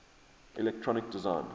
electronic design